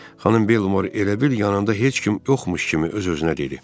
Xanım Belmor elə bil yanında heç kim yoxmuş kimi öz-özünə dedi.